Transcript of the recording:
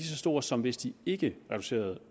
så stor som hvis de ikke reducerede